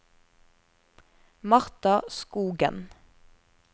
Martha Skogen